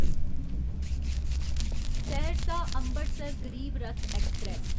Saharsa Amritsar Garib Rath express